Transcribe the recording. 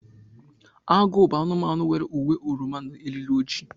Agụ bụ anụmanụ nwere uwe oroma na eriri ojii.